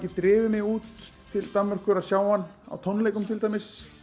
drifið mig út til Danmerkur að sjá hann á tónleikum til dæmis